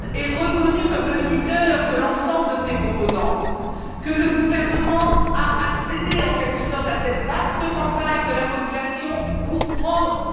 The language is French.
Öcalan est reconnu comme le leader de l'ensemble de ces composantes, que le gouvernement a accédé, en quelque sorte, à cette vaste campagne de la population pour prendre M.